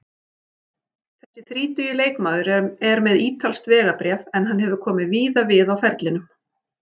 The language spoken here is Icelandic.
Þessi þrítugi leikmaður er með ítalskt vegabréf en hann hefur komið víða við á ferlinum.